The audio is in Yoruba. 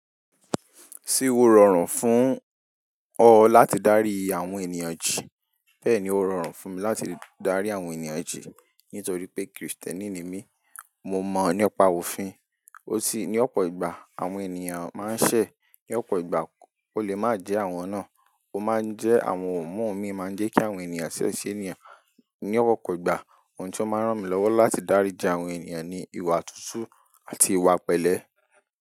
Ṣé ó rọrùn fún ọ láti darí àwọn ènìyàn jí? Bẹ́ẹ̀ni, ó rọrùn fún mi láti darí àwọn ènìyàn jí nítorí pé Kristẹni ni mí. Mo mọ nípa òfin, ó sì ní ọ̀pọ̀ ìgbà àwọn ènìyàn máa ń ṣẹ̀, ní ọ̀pọ̀ ìgbà ò lè má jẹ́ àwọn náà. Ó máa ń jẹ́ àwọn ọ̀mọ̀ mi máa ń jẹ́ kí àwọn ènìyàn ṣẹ̀ si ènìyàn. Ní ọ̀pọ̀ ìgbà ohun tí ó máa ń ràn mí lọ́wọ́ láti daríji àwọn ènìyàn ni ìwà tútù àti ìwà pẹ̀lẹ́.